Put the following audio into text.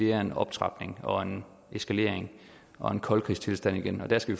er en optrapning og en eskalering og en koldkrigstilstand igen der skal